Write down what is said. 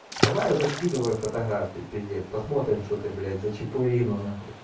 давай уже скидывай фотографию пиздец посмотрим что это блять за чипурино нахуй